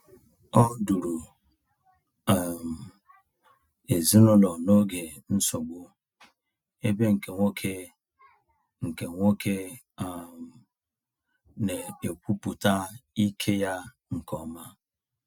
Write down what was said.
Ọ duru um ezinụlọ n’oge nsogbu, ebe nke nwoke nke nwoke um na-ekwupụta ike ya nke ọma.